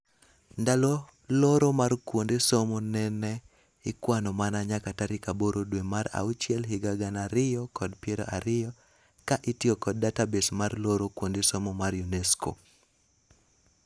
Ndalo loro mar kuonde somo nene ikwano mana nyaka tarik aboro dwee mar auchiel higa gana aroyo kod piero ariyo ka itiyo kod database mar loro kuonde somo mar UNESCO.